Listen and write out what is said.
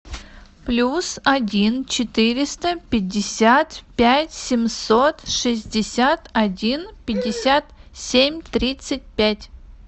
плюс один четыреста пятьдесят пять семьсот шестьдесят один пятьдесят семь тридцать пять